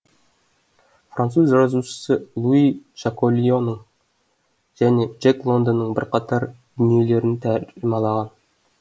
француз жазушысы луи жаколионың және джек лондонның бірқатар дүниелерін тәржімалаған